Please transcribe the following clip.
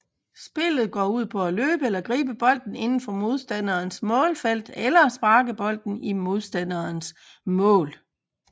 Spillet går ud på at løbe eller gribe bolden inden for modstanderens målfelt eller sparke bolden i modstanderens mål